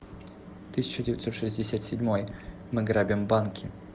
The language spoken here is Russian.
тысяча девятьсот шестьдесят седьмой мы грабим банки